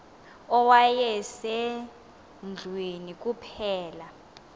owaye sendlwini kuphela